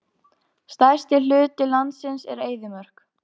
Stærsti hluti landsins er eyðimörk.